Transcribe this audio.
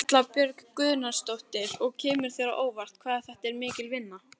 Erla Björg Gunnarsdóttir: Og kemur þér á óvart hvað þetta er mikil vinna?